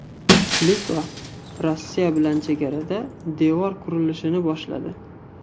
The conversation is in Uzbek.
Litva Rossiya bilan chegarada devor qurilishini boshladi.